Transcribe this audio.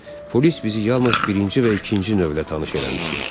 Polis bizi yalnız birinci və ikinci növlə tanış eləmişdi.